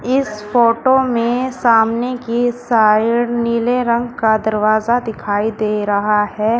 इस फोटो में सामने की साइड नीले रंग का दरवाजा दिखाई दे रहा है।